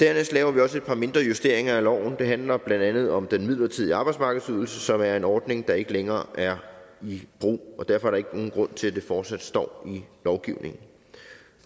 dernæst laver vi også et par mindre justeringer af loven det handler blandt andet om den midlertidige arbejdsmarkedsydelse som er en ordning der ikke længere er i brug og derfor er der ikke nogen grund til at det fortsat står i lovgivningen